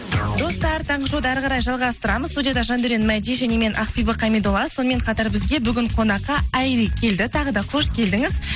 достар таңғы шоуды әріқарай жалғастырамыз студияда жандаурен мәди және мен ақбибі қамидолла сонымен қатар бізге бүгін қонаққа айри келді тағы да қош келдіңіз